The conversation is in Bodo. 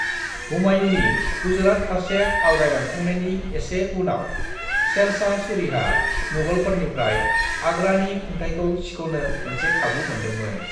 "हुमायूंनि गुजरात फारसे आवगायलांखांनायनि एसे उनाव, शेरशाह सूरीहा मुगलफोरनिफ्राय आगरानि खुंथायखौ सिख'नो मोनसे खाबु मोनदोंमोन।"